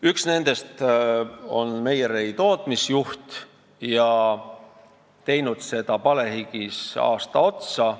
Üks nendest on meierei tootmisjuht ja teinud seda tööd palehigis aasta otsa.